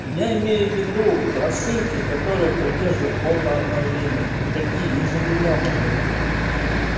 я имею в виду прошивки которые поддерживают от обновления какие их же не много блять